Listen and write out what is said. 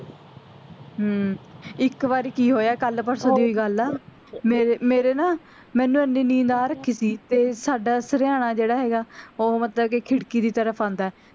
ਹਮ ਇੱਕ ਵਾਰੀ ਕੀ ਹੋਇਆ ਕੱਲ ਪਰਸੋਂ ਦੀ ਹੀ ਗੱਲ ਆ ਮੇਰ ਮੇਰੇ ਨਾ ਮੈਂਨੂੰ ਏਨੀ ਨੀਂਦ ਆ ਰੱਖੀ ਸੀ ਤੇ ਸਾਡਾ ਸਰਿਆਣਾ ਜਿਹੜਾ ਹੈਗਾ ਓਹ ਮਤਲਬ ਕਿ ਖਿੜਕੀ ਦੀ ਤਰਫ ਆਂਦਾ ਐ